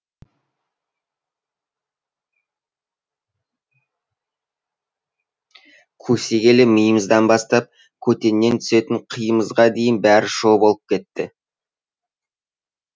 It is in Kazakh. көсегелі миымыздан бастап көтеннен түсетін қиымызға дейін бәрі шоу болып кетті